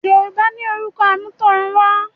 Yorùbá ní “orúkọ àmútọ̀runwá”